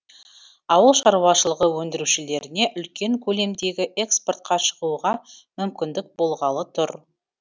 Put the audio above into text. ауыл шаруашылығы өндірушілеріне үлкен көлемдегі экспортқа шығуға мүмкіндік болғалы тұр